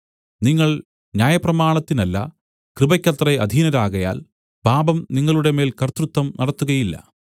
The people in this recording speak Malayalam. നിങ്ങൾ ന്യായപ്രമാണത്തിനല്ല കൃപയ്ക്കത്രേ അധീനരാകയാൽ പാപം നിങ്ങളുടെമേൽ കർത്തൃത്വം നടത്തുകയില്ല